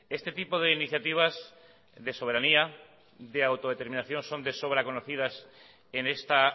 este tipo de iniciativas de soberanía de autodeterminación son de sobra conocidas en esta